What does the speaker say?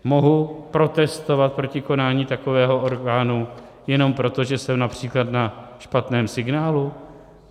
Mohu protestovat proti konání takového orgánu jenom proto, že jsem například na špatném signálu?